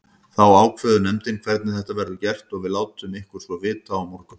Þá ákveður nefndin hvernig þetta verður gert og við látum ykkur svo vita á morgun.